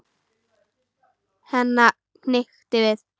Henni hnykkti við.